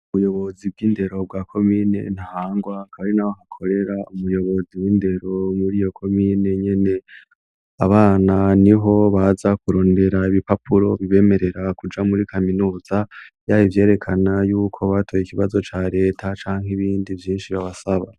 Ubuyobozi bw'indero bwa komine Ntahangwa kari naho hakorera umuyobozi w'indero muri iyo komine nyene abana ni ho baza kurondera ibipapuro bibemerera kuja muri kaminuza yabo vyerekana yuko batoye ikibazo ca leta canka ibindi byinshi babasaba.